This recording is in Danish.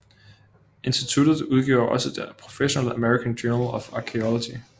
Instituttet udgiver også det professionelle American Journal of Archaeology